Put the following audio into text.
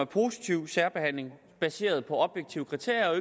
positiv særbehandling baseret på objektive kriterier